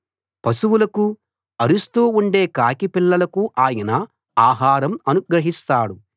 పశువులకు అరుస్తూ ఉండే కాకి పిల్లలకు ఆయన ఆహారం అనుగ్రహిస్తాడు